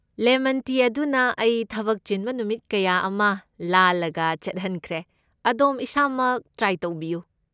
Lemon tea ꯑꯗꯨꯅ ꯑꯩ ꯊꯕꯛ ꯆꯤꯟꯕ ꯅꯨꯃꯤꯠ ꯀꯌꯥ ꯑꯃ ꯂꯥꯜꯂꯒ ꯆꯠꯍꯟꯈ꯭ꯔꯦ, ꯑꯗꯣꯝ ꯏꯁꯥꯃꯛ ꯇ꯭ꯔꯥꯏ ꯇꯧꯕꯤꯌꯨ꯫